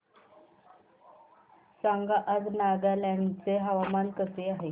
सांगा आज नागालँड चे हवामान कसे आहे